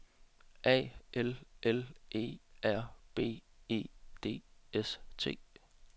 A L L E R B E D S T